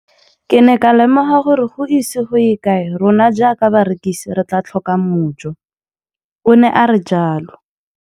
Ke ne ka lemoga gore go ise go ye kae rona jaaka barekise re tla tlhoka mojo, o ne a re jalo.